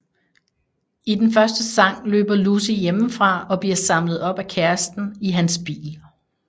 I den første sang løber Lucy hjemmefra og bliver samlet op af kæresten i hans bil